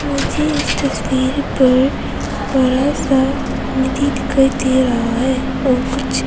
मुझे इस तस्वीर पर बड़ा सा नदी दिखाई दे रहा है और कुछ--